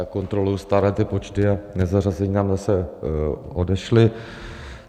Já kontroluji stále ty počty a nezařazení nám zase odešli.